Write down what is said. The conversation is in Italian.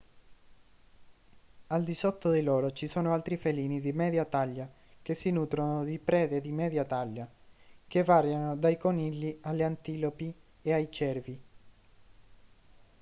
al di sotto di loro ci sono altri felini di media taglia che si nutrono di prede di media taglia che variano dai conigli alle antilopi e ai cervi